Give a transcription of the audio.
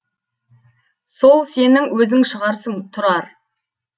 сол сенің өзің шығарсың тұрар